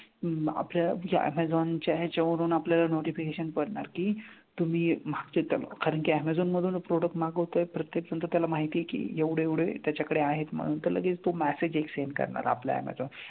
अं आपल्या ज्या ऍमेझॉनच्या ह्याच्यावरून आपल्याला notification करणार की तुम्ही मागच्या त्या कारण की ऍमेझॉन मधूनच product मागवतोय तर ते पण तर त्याला माहिती आहे की एवढे एवढे त्याच्याकडे आहे म्हणून तर लगेच तो message एक send करणार आपला ऍमेझॉन.